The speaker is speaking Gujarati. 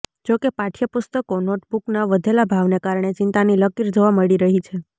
જોકે પાઠયપુસ્તકો નોટબુકના વધેલા ભાવને કારણે ચિંતાની લકીર જોવા મળી રહી છે